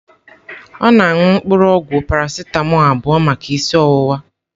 Ọ na-aṅụ mpuru ogwu Parasịtamọọlụ abụọ maka isi ọwụwa.